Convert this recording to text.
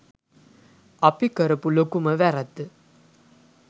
අපි කරපු ලොකුම වැරැද්ද